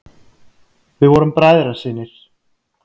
Við vorum bræðrasynir.